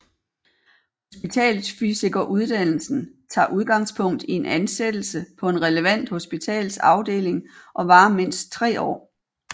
Hospitalsfysikeruddannelsen tager udgangspunkt i en ansættelse på en relevant hospitalsafdeling og varer mindst 3 år